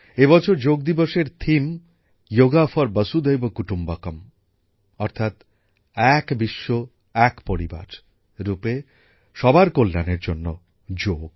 এবছর যোগ দিবসের মূল ভাবনা যোগা ফর বসুধৈব কুটুম্বকম অর্থাৎ এক বিশ্ব এক পরিবার ভাবনায় সবার কল্যাণের জন্য যোগ